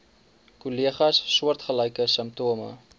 kollegas soortgelyke simptome